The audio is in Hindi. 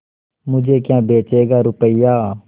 मुझे क्या बेचेगा रुपय्या